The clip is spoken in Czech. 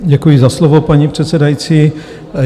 Děkuji za slovo, paní předsedající.